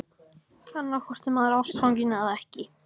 Annaðhvort er maður ástfanginn- eða ekki!